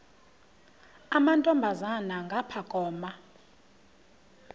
amantombazana ngapha koma